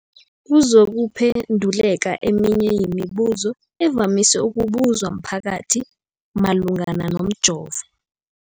kuzokuphe nduleka eminye yemibu zo evamise ukubuzwa mphakathi malungana nomjovo.